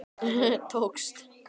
Tókst henni hvað? spurði ég forvitin.